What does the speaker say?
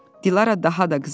Dilara daha da qızardı.